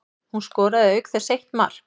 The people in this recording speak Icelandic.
Hún skoraði auk þess eitt mark